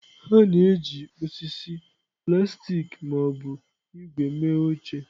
A na-eji osisi, plastik ma ọ bụ ígwè mee oche.